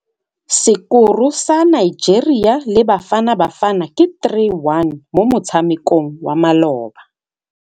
Sekôrô sa Nigeria le Bafanabafana ke 3-1 mo motshamekong wa malôba.